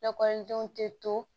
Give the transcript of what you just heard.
Lakɔlidenw tɛ to